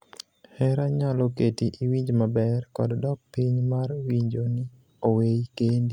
Hera nyalo keti iwinj maber kod dok piny mar winjo ni oweyi kendi